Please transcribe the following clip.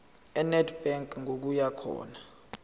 enedbank ngokuya khona